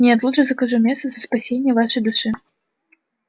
нет лучше закажу мессу за спасение вашей души